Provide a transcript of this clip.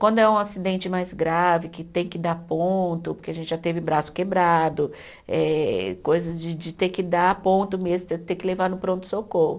Quando é um acidente mais grave, que tem que dar ponto, porque a gente já teve braço quebrado, eh coisas de de ter que dar ponto mesmo, ter que levar no pronto-socorro.